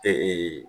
Ee